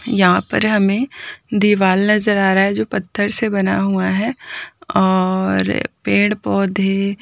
यहाँ पर हमें दीवाल नजर आ रहा है जो पत्थर से बना हुआ है और पेड़-पोधे --